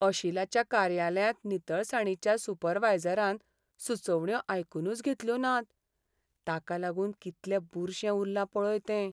अशिलाच्या कार्यालयांत नितळसाणीच्या सुपरवायझरान सुचोवण्यो आयकूनच घेतल्यो नात. ताका लागून कितलें बुरशें उरलां पळय तें.